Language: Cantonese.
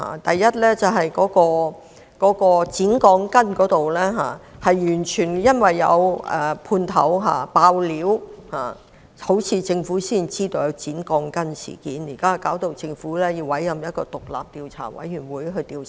首先是剪鋼筋的問題，似乎是因為有判頭"爆料"，政府才得悉有關事件，令政府現在要委任獨立調查委員會進行調查。